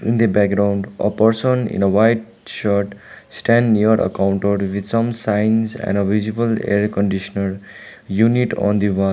in the background a person in a white shirt stand near a counter with some signs and a visible air conditioner unit on the wall.